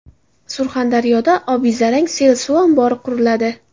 Surxondaryoda Obizarang sel suv ombori quriladi.